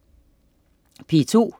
P2: